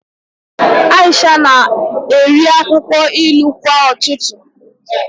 Aisha na-eri akwụkwọ ilu kwa ụtụtụ